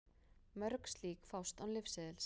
Mörg slík fást án lyfseðils.